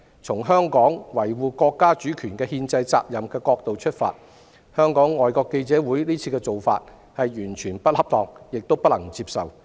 從香港維護國家主權憲制責任的角度出發，香港外國記者會的做法完全不恰當，亦令人無法接受。